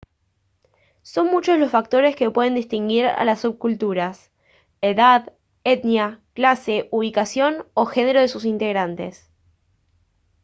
son muchos los factores que pueden distinguir a las subculturas edad etnia clase ubicación o género de sus integrantes